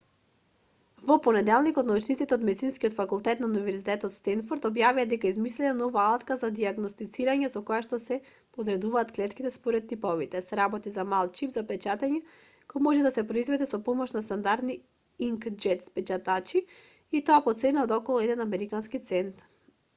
во понеделникот научниците од медицинскиот факултет на универзитетот стенфорд објавија дека измислиле нова алатка за дијагностицирање со којашто се подредуваат клетките според типови се работи за мал чип за печатење кој може да се произведе со помош на стандардни инк-џет печатачи и тоа по цена од околу еден американски цент